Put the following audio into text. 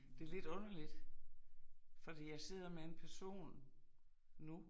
Det lidt underligt, fordi jeg sidder med en person nu